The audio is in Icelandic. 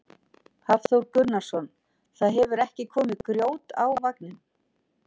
Hafþór Gunnarsson: Það hefur ekki komið grjót á vagninn?